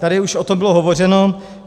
Tady už o tom bylo hovořeno.